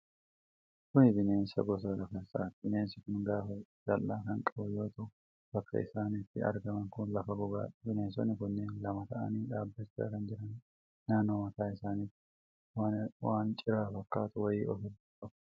Kun bineensa gosa gafarsaati. Bineensi kun gaafa jal'aa kan qabu yoo ta'u, bakki isaan itti argaman kun lafa gogaadha. Bineensonni kunneen lama ta'anii dhaabachaa kan jiraniidha. Naannoo mataa isaanitti waan ciraa fakkaatu wayii of irraa qabu.